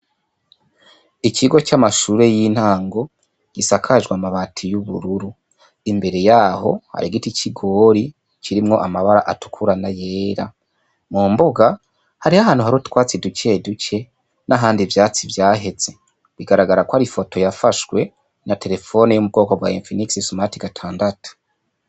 Ikigo c'amashure y'intango gisakajwe amabati y'ubururu imbere yaho hari igiti c'igori kirimwo amabara atukurana yera mu mbuga hari ho ahantu hari utwatsi idukeduke n'ahandi vyatsi vyaheze bigaragara ko ari ifoto yafashwe na terefoni y'umu bwoko bwa mpi nik i somati gatandatu.